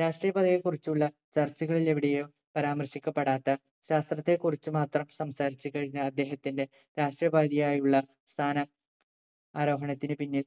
രാഷ്ട്രപദവിയെ കുറിച്ചുള്ള ചർച്ചകളിൽ എവിടെയോ പരാമർശിക്കപ്പെടാത്ത ശാസ്ത്രത്തെ കുറിച്ചു മാത്രം സംസാരിച്ച് കഴിഞ്ഞ അദ്ദേഹത്തിന്റെ രാഷ്ട്രപതിയായി ഉള്ള സ്ഥാനം ആരോഹണത്തിന് പിന്നിൽ